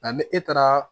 Nka ni e taara